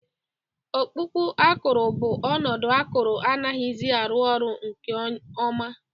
Ọkpụkpụ akụrụ bụ ọnọdụ akụrụ anaghịzi arụ ọrụ nke ọma